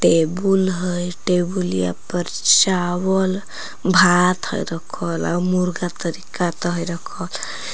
table है टेबुलिया पर चावल भात है रखल आर मुर्गा तरी का तो है रखल --